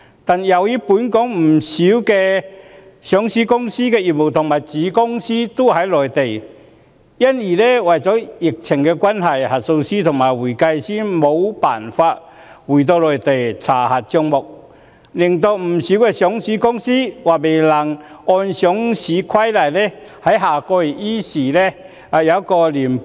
不過，由於本港不少上市公司的業務和子公司都在內地，因為疫情關係，核數師和會計師無法回到內地查核帳目，令不少上市公司或未能按《上市規則》於下月依時提交年報。